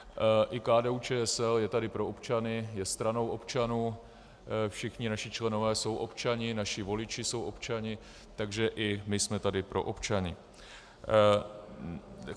I KDU-ČSL je tady pro občany, je stranou občanů, všichni naši členové jsou občané, naši voliči jsou občané, takže i my jsme tady pro občany.